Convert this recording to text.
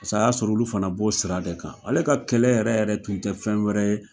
Pase a y'a sɔrɔ olu fana b'o sira de kan. Ale ka kɛlɛ yɛrɛ yɛrɛ tun tɛ fɛn wɛrɛ ye